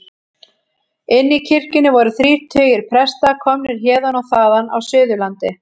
Inni í kirkjunni voru þrír tugir presta, komnir héðan og þaðan af Suðurlandi.